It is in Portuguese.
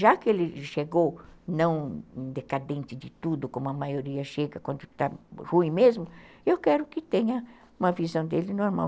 Já que ele chegou não decadente de tudo, como a maioria chega quando está ruim mesmo, eu quero que tenha uma visão dele normal.